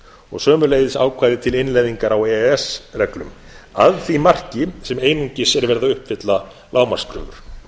og sömuleiðis ákvæði til innleiðingar á e e s reglum að því marki sem einungis er verið að uppfylla lágmarkskröfur